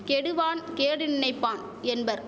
கெடுவான் கேடு நினைப்பான் என்பர்